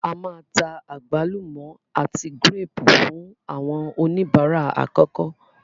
A máa ta àgbálùmọ́ àti gírépù fún àwọn oníbàárà àkọ́kọ́.